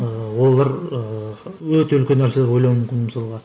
ыыы олар ыыы өте үлкен нәрселер ойлауы мүмкін мысалға